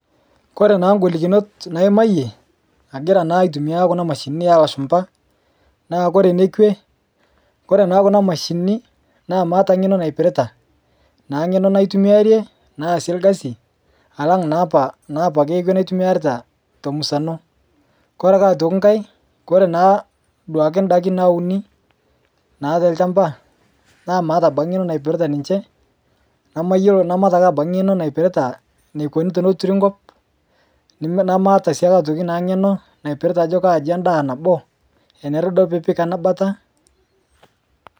Kore naa golikinot naimayie, agira naa aitumiyaa kuna mashinini elashumpa, naa kore nekwe, kore naa kuna mashinini naa maata ng'eno naipirita naa ng'eno naitumiyarie naa aase lgasi alang' naapa naa apake ekwe naitumiyiarita te musano. Kore ake aitoki nkae, kore naa duake ndaki nauni naa lte lchamba naa mata abaki ng'eno naipirita ninche, namayuolo namaata ake abaki ng'eno naipirita neikoni teneturi nkop, namaata sii atoki naa ng'eno napirita ajo kaaji endaa nabo enere duo piipik ana bata.